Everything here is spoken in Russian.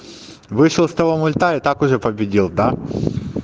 вышел с того мульта и так уже победил да